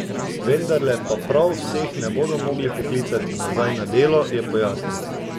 Vendarle pa prav vseh ne bodo mogli poklicati nazaj na delo, je pojasnil.